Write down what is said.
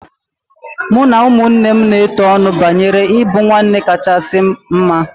Mụ na ụmụnne m na-etu ọnụ banyere ịbụ ụmụnne kachasị mma